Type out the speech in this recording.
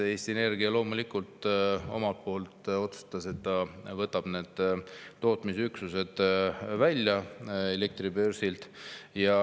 Eesti Energia loomulikult omalt poolt otsustas, et ta võtab need tootmisüksused elektribörsilt välja.